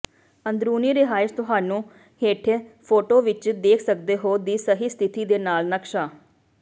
ਅੰਦਰੂਨੀ ਰਿਹਾਇਸ਼ ਤੁਹਾਨੂੰ ਹੇਠ ਫੋਟੋ ਵਿਚ ਦੇਖ ਸਕਦੇ ਹੋ ਦੀ ਸਹੀ ਸਥਿਤੀ ਦੇ ਨਾਲ ਨਕਸ਼ਾ